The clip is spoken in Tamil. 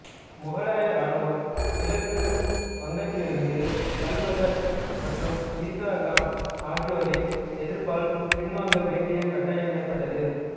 முகலாய இராணுவம் கிழக்கு வங்கத்திலிருந்து கலபகர் மற்றும் ஈசா கான் ஆகியோரின் எதிர்ப்பால் பின்வாங்க வேண்டிய கட்டாயம் ஏற்பட்டது